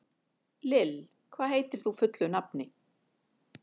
Lill, hvað heitir þú fullu nafni?